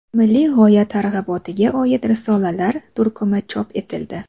Milliy g‘oya targ‘ibotiga oid risolalar turkumi chop etildi.